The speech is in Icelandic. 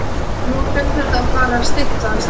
Nú hlaut þetta að fara að styttast.